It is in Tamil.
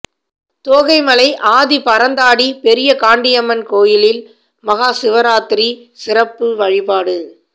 தோகைமலை ஆதி பரந்தாடி பெரிய காண்டியம்மன் கோயிலில் மகா சிவராத்திரி சிறப்பு வழிபாடு